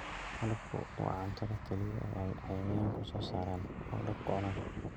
Malabku waa cuntada kaliya ee ay cayayaanku soo saaraan oo dadku cunaan.